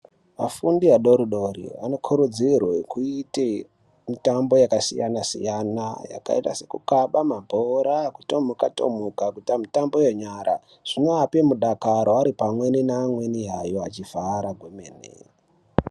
Afundi adori-dori anokurudzirwe kuita mitambo yakasiyana-siyana. Yakaita seye kukhaba mabhora, kutomuka-tomuka, kuita mitamo yenyara zvinoape mudakaro ari pamweni neamweni yayo achifara kwemene.